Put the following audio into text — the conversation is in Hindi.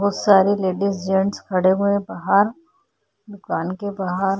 बहुत सारे लेडिस जेंट्स खड़े हुए है बाहर दुकान के बाहर --